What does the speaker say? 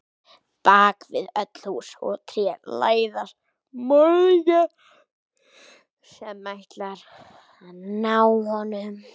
Bak við öll hús og tré læðast morðingjar sem ætla að ná honum.